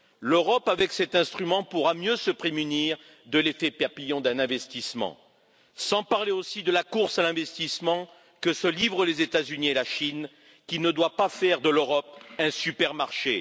L'Europe, avec cet instrument, pourra mieux se prémunir de l'effet papillon d'un investissement, sans parler aussi de la course à l'investissement que se livrent les États Unis et la Chine, et qui ne doit pas faire de l'Europe un supermarché.